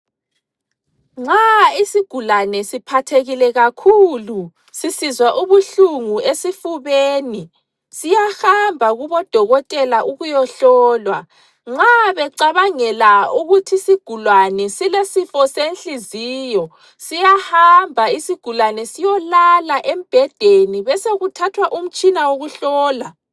Nxa isigulane siphathekile kakhulu, sisizwa ubuhlungu esifubeni, siyahamba kubodokotela ukuyohlolwa. Nxa becabangela ukuthi isigulane silesifo senhliziyo, siyahamba isigulane siyolala embhedeni besokuthathwa umtshina wokuhlola.